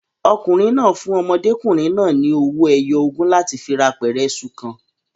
Ọkùnrin náà fún ọmọdékùnrin náà ni owó ẹyọ ogún láti fi ra apẹ̀rẹ̀ iṣu kan.